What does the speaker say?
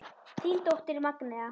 Þín dóttir Magnea.